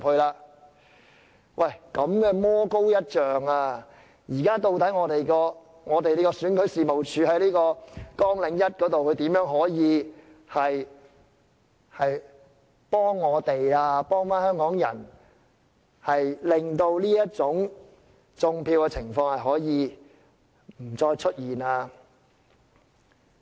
如此的魔高一丈，究竟選舉事務處就其在綱領下所述的工作，如何可以幫助我們香港人，令"種票"的情況不再出現？